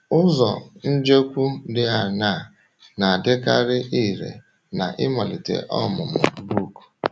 Ụzọ njekwu dị aṅaa na - adịkarị irè n’ịmalite ọmụmụ book?